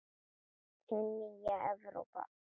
Hin nýja Evrópa!